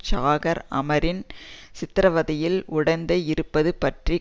ஷாகர் ஆமரின் சித்திரவதையில் உடந்தை இருப்பது பற்றிய